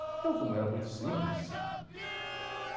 Eu como era muito simples.